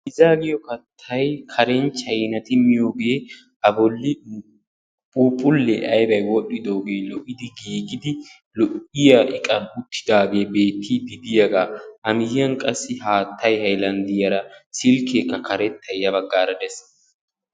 Piizaa giyo Kattayi Karen chaynati miyogee a bolli phuuphullee aybayi wodhdhidoogee lo"idi giigidi lo'iya iqan uttidaagee beettiidi diyagaa a miyyiyan qassi haattayi haylanddiyara silkkeekka karettayi ya baggaara de'es.